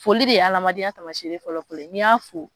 Foli de ye amadenya taamasere fɔlɔ-fɔlɔ ye n'i y'a tigi fo